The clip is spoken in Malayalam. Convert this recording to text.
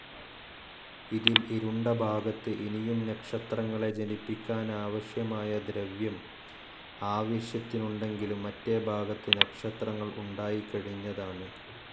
ഇതിൽ ഇരുണ്ട ഭാഗത്ത് ഇനിയും നക്ഷത്രങ്ങളെ ജനിപ്പിക്കാനാവശ്യമായ ദ്രവ്യം ആവശ്യത്തിനുണ്ടെങ്കിലും മറ്റേ ഭാഗത്ത് നക്ഷത്രങ്ങൾ ഉണ്ടായിക്കഴിഞ്ഞതാണ്.